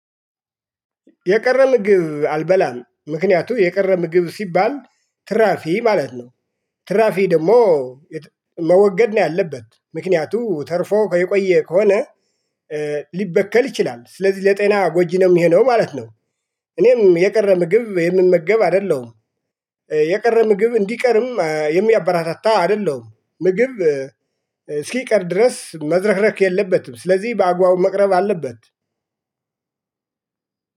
የቀረ ምግብ አልበላም ምክንያቱም የቀረ ምግብ ሲባል ትራፊ ማለት ነው። ትራፊ ደግሞ መወገድ ነው ያለበት ምክንያቱ ተርፎ የቆየ ከሆነ። ሊበከል ይችላል ስለዚህ ለጤና ጎጂ ነው የሚሆነው ማለት ነው። እኔም የቀረ ምግብ የምመገብ አይደለሁም። አይደለም የቀረ ምግብ እንዲቀርም የሚያበራታታ አይደለም። ምግብ እስኪቀር ድረስ መዝረክረክ የለበትም ስለዚህ በአግባቡ መቅረብ አለበት።